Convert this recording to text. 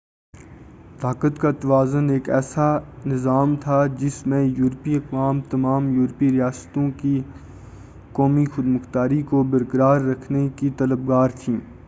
طاقت کا توازن ایک ایسا نظام تھا جس میں یورپی اقوام تمام یورپی ریاستوں کی قومی خودمختاری کو برقرار رکھنے کی طلب گار تھیں